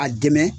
A dɛmɛ